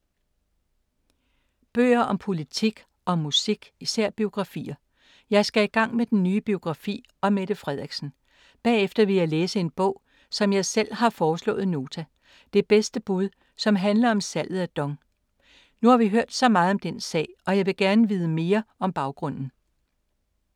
Bøger om politik og om musik, især biografier. Jeg skal i gang med den nye biografi om Mette Frederiksen. Bagefter vil jeg læse en bog som jeg selv har foreslået Nota: Det bedste bud, som handler om salget af DONG. Nu har vi hørt så meget om den sag og jeg vil gerne vide mere om baggrunden.